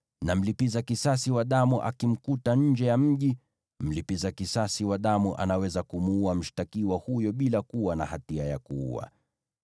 na mlipiza kisasi wa damu akamkuta nje ya mji, mlipiza kisasi wa damu anaweza kumuua mshtakiwa huyo bila kuwa na hatia ya kuua.